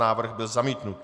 Návrh byl zamítnut.